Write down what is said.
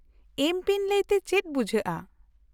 -ᱮᱢ ᱯᱤᱱ ᱞᱟᱹᱭᱛᱮ ᱪᱮᱫ ᱵᱩᱡᱷᱟᱹᱜᱼᱟ?